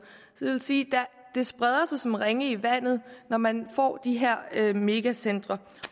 så det vil sige at det spreder sig som ringe i vandet når man får de her megacentre